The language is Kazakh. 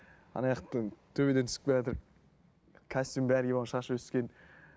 төбеден түсіп келатыр костюм бәрін киіп алған шашы өскен